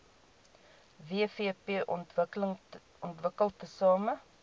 wvp ontwikkel tesame